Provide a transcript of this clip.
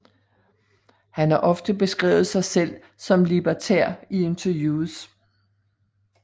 Han har ofte beskrevet sig selv som libertær i interviews